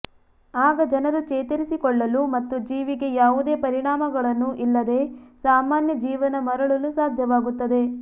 ಆಗ ಜನರು ಚೇತರಿಸಿಕೊಳ್ಳಲು ಮತ್ತು ಜೀವಿಗೆ ಯಾವುದೇ ಪರಿಣಾಮಗಳನ್ನು ಇಲ್ಲದೆ ಸಾಮಾನ್ಯ ಜೀವನ ಮರಳಲು ಸಾಧ್ಯವಾಗುತ್ತದೆ